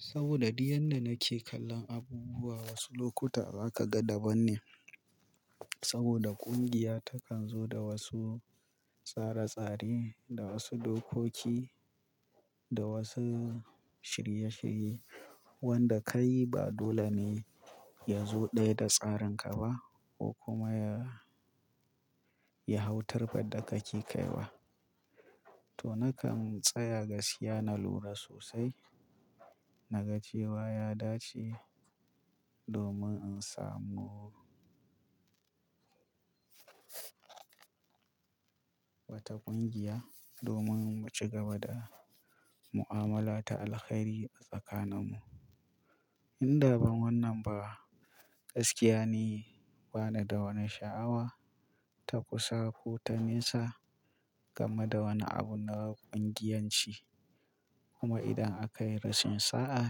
Saboda duk yanda nake kallon abubuwa, wasu lokuta ba ka ga daban ne. Saboda ƙungiya takan zo da wasu tsare-tsare, da wasu dokoki, da wasu shirye-shirye wanda kai ba dole ne ya zo ɗaya da tsarinka ba ko kuma ya, ya hautar faɗa kake kaiwa. To na kan tsaya gaskiya na lura sosai, naga cewa ya dace domin in samu wata ƙungiya domin mu ci gaba da mu'amala ta alheri a tsakaninmu. Inda ban wannan ba, gaskiya ne bana da wani sha'awa ta kusa ko ta nesa game da wani abu na ƙungiyanci. Kuma idan aka yi rashin sa'a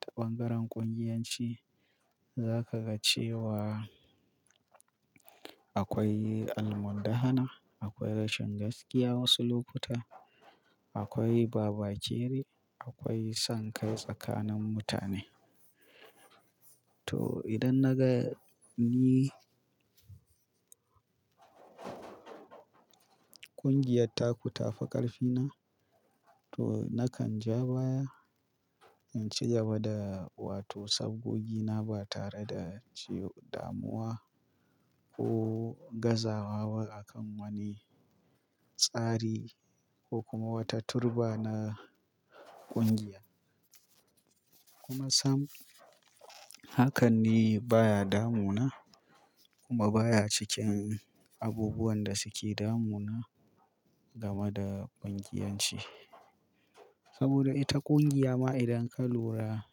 ta ɓangaren ƙungiyanci, za ka ga cewa akwai almundahana, akwai rashin gaskiya wasu lokuta, akwai babajeri, akwai son kai tsakanin mutane. To idan na gani ƙungiyar taku ta fi ƙarfina, to na kan ja baya in ci gaba da, wato sabgogina ba tare da ci damuwa ko gazawa ba a kan wani tsari ko kuma wata turba na ƙungiya. Kuma sam, hakan ne baya damuna kuma baya cikin abubuwan da suke damuna game da ƙungiyanci. Saboda ita ƙungiya ma idan ka lura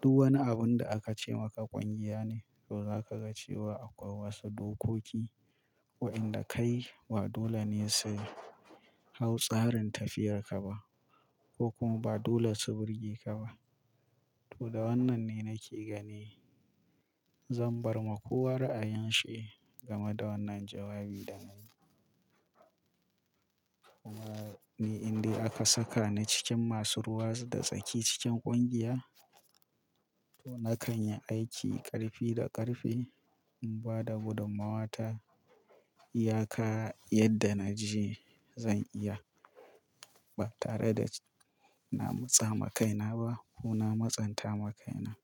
duk wani abun da aka ce maka ƙungiya ne, to za ka ga cewa akwai wasu dokoki wa'inda kai ba dole ne su hau tsarin tafiyarka ba ko kuma ba dole su birge ka ba. To da wannan ne nake gani. Zan bar ma kowa ra'ayanshi game da wannan jawabi da na yi. Kuma ni indai aka saka ni cikin masu ruwa da tsaki cikin ƙungiya, to na kan yi aiki ƙarfi da ƙarfe in ba da gudummawa ta iyaka yadda na ji zan iya ba tare da na matsa makaina ba ko na matsanta makaina.